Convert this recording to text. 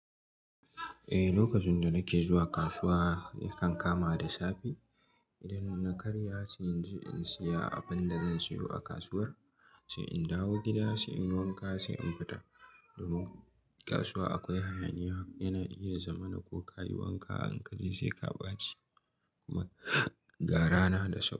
Eh, lokacin da nake zuwa kasuwa yakan kama da safe. Idan na karya sai in je in siya abinda zan siyo a kasuwar, sai in dawo gida sai in wanka sai in fita. Domin kasuwa akwai hayaniya, yana iya zama na ko ka yi wanka in kaje sai ka ɓaci. Kuma gara na da so.